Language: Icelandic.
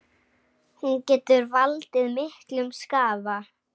Hún getur valdið miklum skaða.